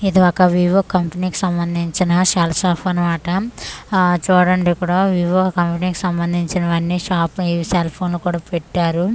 ఇది ఒక వివో కంపెనీకి సంబంధించిన సెల్ సాప్ అనమాట ఆ చూడండి ఇక్కడ వివో కంపెనీకి సంబంధించినవన్నీ షాప్పై సెల్ఫోన్లు కూడా పెట్టారు.